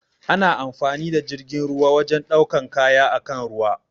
Ana amfani da jirgin ruwa wajen ɗaukan kaya akan ruwa.